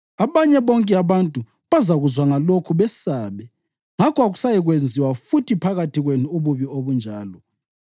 Abanye bonke abantu bazakuzwa ngalokhu besabe, ngakho akusayikwenziwa futhi phakathi kwenu ububi obunjalo.